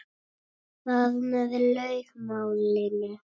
Þar með lauk málinu.